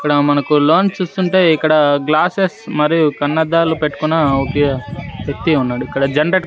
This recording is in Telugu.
ఇక్కడ మనకు లోన చూస్తుంటే ఇక్కడ గ్లాసెస్ మరియు కన్నద్దాలు పెట్టుకున్న ఒక వ్యక్తి ఉన్నాడు ఇక్కడ జనరేటర్ --